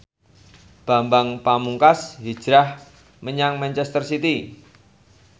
Bambang Pamungkas hijrah menyang manchester city